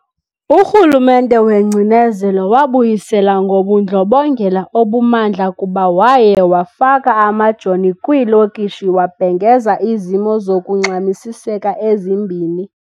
uRhulumente wengcinezelo wabuyisela ngobundlobongela obumandla kuba waye wafaka amajoni kwiilokishi wabhengeza izimo zokungxamisiseka ezimbini.